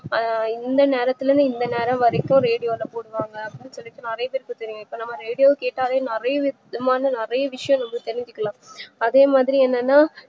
ஆஹ் இந்தநேரத்துல இருந்து இந்த நேரம் வரைக்கும் ரேடியோ ல போடுவாங்க அப்டின்னு சொல்லிட்டு நறைய பேர்க்கு தெரியும் இப்போ நம்ம ரேடியோ கேட்டாலே நறைய நம்ம வந்து நறைய விஷயம் வந்து தெரிஞ்சுக்கலாம் அதேமாதிரி என்னன்னா